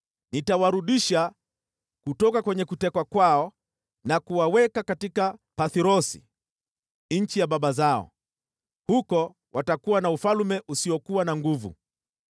Nitawarudisha hao Wamisri kutoka kwenye kutekwa kwao na kuwaweka katika Pathrosi, nchi ya baba zao. Huko watakuwa na ufalme usiokuwa na nguvu.